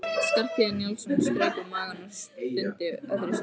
Skarphéðinn Njálsson strauk um magann og stundi öðru sinni.